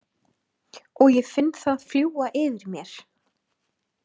Og ég finn það fljúga yfir mér.